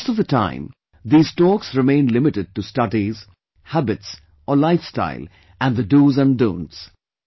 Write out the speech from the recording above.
Most of the time these talks remain limited to studies, habits or life style and the "do's" and "don'ts"